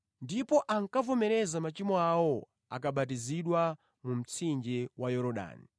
Ndipo akavomereza machimo awo ankabatizidwa mu mtsinje wa Yorodani.